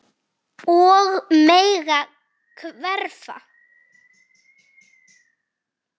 Og mega hverfa.